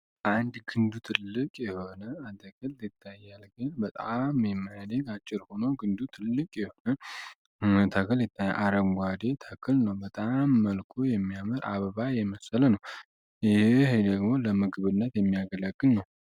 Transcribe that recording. አንድ ክንዱ ትልቅ የሆነ አጠክል የታያልግ በጣም የማዲግ አጭር ሆኖ ግንዱ ትልቅ የሆነ ተክል አረንጓዴ ተክል ነው በጣም መልኮ የሚያመር አበባ የመሰለ ነው ይህ ሄሌግሞ ለምክብነት የሚያገለክን ነው፡፡